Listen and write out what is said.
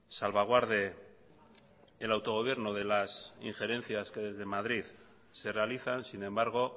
salvaguarde el autogobierno de las injerencias que desde madrid se realizan sin embargo